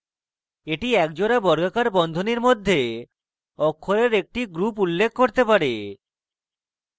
এটি একজোড়া বর্গাকার বন্ধনীর মধ্যে অক্ষরের একটি group উল্লেখ করতে pair